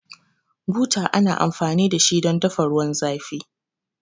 Buta ana amfani dashi don dafa ruwan zafi